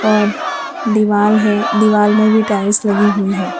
और दीवाल है दीवाल में भी टाइल्स लगी हुईं हैं।